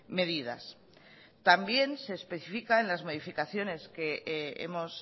medidas también se especifican las modificaciones que hemos